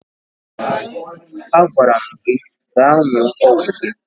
Agwara m gị gaa ṅụọ ọgwụ gị!